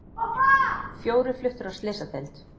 Fjórir fluttir á slysadeild